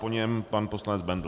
Po něm pan poslanec Bendl.